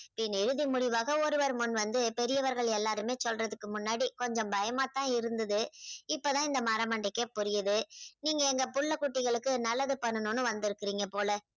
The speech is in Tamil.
இனி இருதி முடிவாக ஒருவர் முன் வந்து பெரியவர்கள் எல்லாருமே சொல்றதுக்கு முன்னாடி கொஞ்சம் பயமாத்தான் இருந்தது இப்போதான் இந்த மறமண்டைக்கே புரியுது. நீங்க எங்க புள்ள குட்டிகளுக்கு நல்லது பண்ணனும்னு வந்திருக்குறீங்க போல